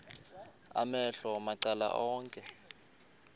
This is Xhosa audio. amehlo macala onke